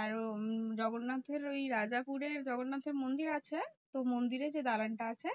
আর ও উম জগন্নাথের ওই রাজাপুরে জগন্নাথের মন্দির আছে। তো মন্দিরে যে দালানটা আছে